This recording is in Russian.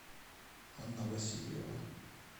анна васильева